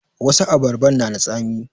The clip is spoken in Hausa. Wasu abarban na da tsami